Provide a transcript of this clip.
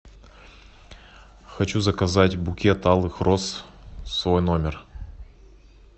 хочу заказать букет алых роз в свой номер